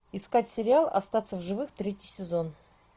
искать сериал остаться в живых третий сезон